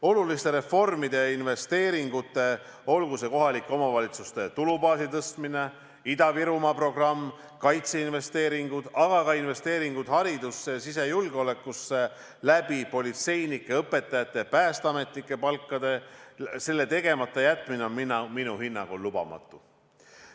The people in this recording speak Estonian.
Oluliste reformide ja investeeringute, olgu see kohalike omavalitsuste tulubaasi tõstmine, Ida-Virumaa programm, kaitseinvesteeringud, aga ka investeeringud haridusse ja sisejulgeolekusse politseinike, õpetajate ja päästeametnike palkade kaudu, tegemata jätmine on minu hinnangul lubamatu.